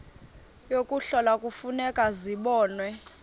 yokuhlola kufuneka zibonwe